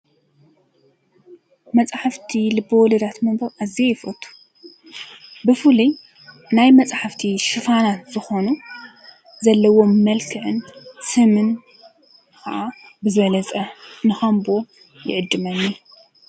መፃሕፍቲ ልበ-ወለዳት ምንባብ አዝየ ይፈቱ፡፡ ብፍሉይ ናይ መፃሕፍቲ ሽፋናት ዝኾኑ ዘለዎም መልክዕን ስምን ከዓ ብዝበለፀ ንኸንብቦ ይዕድመኒ፡፡